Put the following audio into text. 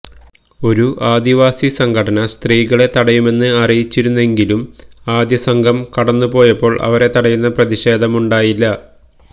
ഒരു ആദിവാസിസംഘടന സ്ത്രീകളെ തടയുമെന്ന് അറിയിച്ചിരുന്നെങ്കിലും ആദ്യസംഘം കടന്നുപോയപ്പോൾ അവരെ തടയുന്ന പ്രതിഷേധമുണ്ടായില്ല